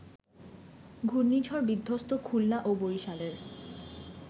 ঘূর্ণিঝড়-বিধ্বস্ত খুলনা ও বরিশালের